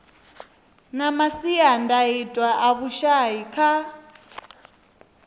na masiandaitwa a vhushai kha